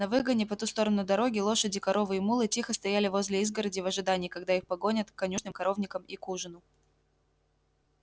на выгоне по ту сторону дороги лошади коровы и мулы тихо стояли возле изгороди в ожидании когда их погонят к конюшням коровникам и к ужину